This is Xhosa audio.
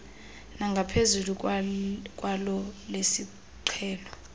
nangaphezulu kwelo lesiqhelo